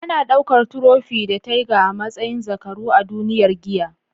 Ana daukar Trofi da Teiga a matsayin zakaru a duniyar giya.